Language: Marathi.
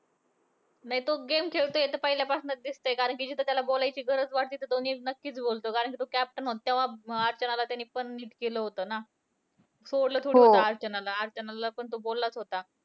नाही तो game खेळतोय, हे तर पहिल्यापासुनचं दिसतंय कारण कि जिथे त्याला बोलायची गरज वाटली, तिथं तो नीट नक्कीच बोलतो. कारण कि तो captain होता, तेव्हा अर्चनाला त्याने पण नीट केलं होतं ना. केलं होतं अर्चनाला, अर्चनाला पण तो बोललाच होता.